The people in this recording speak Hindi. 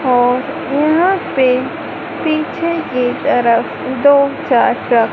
और यहां पे पीछे की तरफ दो चाचा--